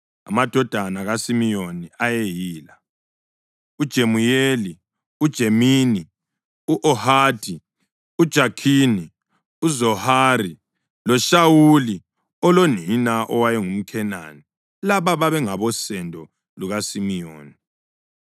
Amadodana kaSimiyoni ayeyila: uJemuyeli, uJamini, u-Ohadi, uJakhini, uZohari, loShawuli olonina oweyengumKhenani. Laba babengabosendo lukaSimiyoni.